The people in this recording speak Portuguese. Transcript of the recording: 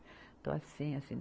Então assim, assim.